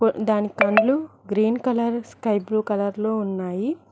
దాని కండ్లు green colour sky blue colour లో ఉన్నాయి.